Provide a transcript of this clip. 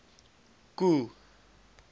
k o e